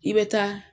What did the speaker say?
I bɛ taa